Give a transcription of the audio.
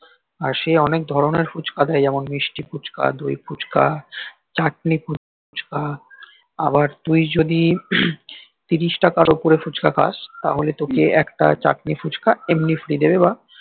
আর সেই অনেক ধরনের ফুচকা থাকে যেমন মিস্তি ফুচকা দই ফুচকা চাতনি ফুচকা আবার তুই যদি তিরিশ টাকার অপরে ফুচকা খাস তবে তকে একটা চাত্নি ফুচকা এমনি free দেবে বা